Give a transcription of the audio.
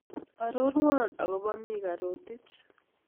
Arorwon agobo mika Rotich